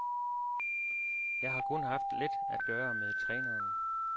Jeg har kun haft lidt at gøre med træneren.